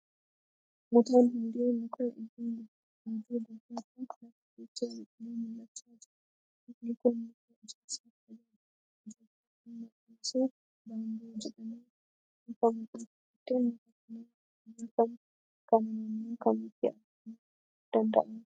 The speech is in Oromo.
Mutaan hundee mukaa iddoo gubataa lafaa keessaa biqilee mul'achaa jira. Mukni kun muka ijaarsaaf tajaajilu kan maqaan isaa Baamboo jedhamee beekamuudha. Horteen muka kanaa biyya kanaa naannoo kamitti argamuu danda'a?